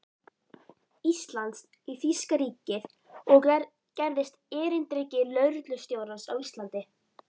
Íslands í þýska ríkið og gerðist erindreki lögreglustjórans á Íslandi.